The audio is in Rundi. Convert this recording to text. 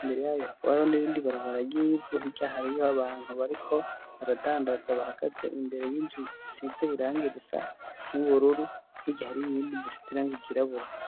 Imbere yayo hakaba hariho n'irindi barabara ry'ivu hirya hariho abantu bariko aradandatza bahagaze imbere y'inzu isize irangi risa n'ubururu hirya hari iyindi nzu isize irangi ryirabura.